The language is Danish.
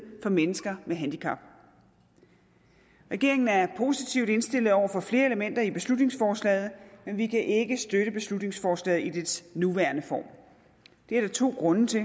for mennesker med handicap regeringen er positivt indstillet over for flere elementer i beslutningsforslaget men vi kan ikke støtte beslutningsforslaget i dets nuværende form det er der to grunde til